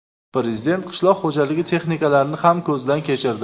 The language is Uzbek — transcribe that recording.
Prezident qishloq xo‘jaligi texnikalarini ham ko‘zdan kechirdi.